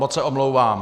Moc se omlouvám.